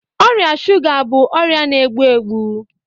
Ọrịa shuga bụ ọrịa na-egbu egbu